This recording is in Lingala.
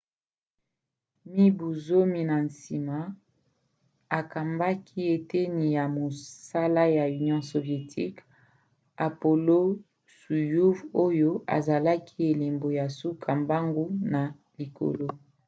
mibu zomi na nsima akambaki eteni ya mosala ya union soviétique apollo-soyouz oyo ezalaki elembo ya suka mbangu na likolo